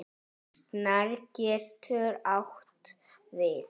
Snær getur átt við